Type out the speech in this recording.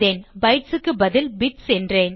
bytesக்குப் பதில் பிட்ஸ் என்றேன்